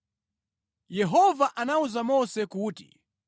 Yehova anawuza Mose kuti,